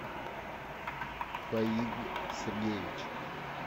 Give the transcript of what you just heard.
фаиг сергеевич